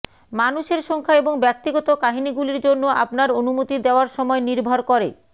মানুষের সংখ্যা এবং ব্যক্তিগত কাহিনীগুলির জন্য আপনার অনুমতি দেওয়ার সময় নির্ভর করে